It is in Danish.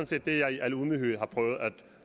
set det jeg i al ydmyghed har prøvet at